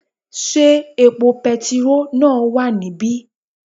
Sé epo petiró náà wà níbí?